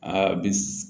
Aa bi